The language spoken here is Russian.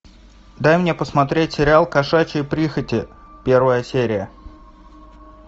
дай мне посмотреть сериал кошачьи прихоти первая серия